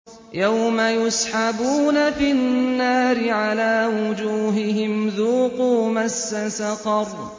يَوْمَ يُسْحَبُونَ فِي النَّارِ عَلَىٰ وُجُوهِهِمْ ذُوقُوا مَسَّ سَقَرَ